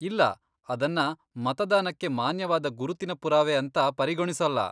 ಇಲ್ಲ, ಅದನ್ನ ಮತದಾನಕ್ಕೆ ಮಾನ್ಯವಾದ ಗುರುತಿನ ಪುರಾವೆ ಅಂತ ಪರಿಗಣಿಸೋಲ್ಲ.